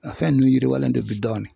A fɛn ninnu yiriwalen do bi dɔɔni.